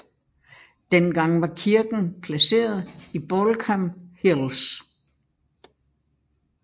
Dengang var kirken placeret i Baulkham Hills